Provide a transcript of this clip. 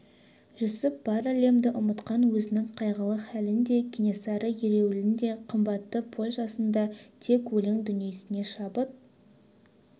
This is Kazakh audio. жүсіп бар әлемді ұмытқан өзінің қайғылы халін де кенесары ереуілін де қымбатты польшасын да тек өлең дүниесіне шабыт